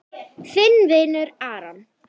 Þinn vinur Aron.